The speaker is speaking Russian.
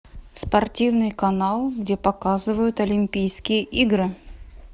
спортивный канал где показывают олимпийские игры